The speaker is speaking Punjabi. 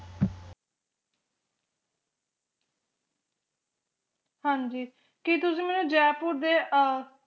ਹਾਂਜੀ ਕਿ ਤੁਸੀ ਮੈਨੂੰ ਜੈਪੁਰ ਦੇ ਅਹ